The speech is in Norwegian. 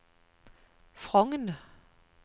Frogn